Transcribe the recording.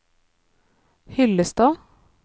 Hyllestad